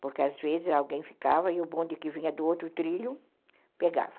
Porque às vezes alguém ficava e o bonde que vinha do outro trilho pegava.